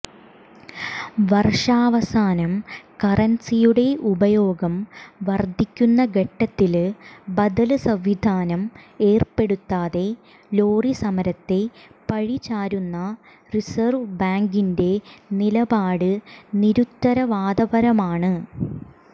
വാര്ഷാവസാനം കറന്സിയുടെ ഉപയോഗം വര്ധിക്കുന്ന ഘട്ടത്തില് ബദല് സംവിധാനം ഏര്പ്പെടുത്താതെ ലോറിസമരത്തെ പഴിചാരുന്ന റിസര്വ് ബാങ്കിന്റെ നിലപാട് നിരുത്തരവാദപരമാണ്